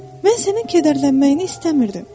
Mən sənin kədərlənməyini istəmirdim.